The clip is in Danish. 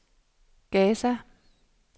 Gaza